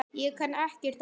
Ég kann ekkert annað.